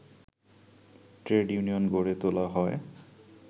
trade union গড়ে তোলা হয়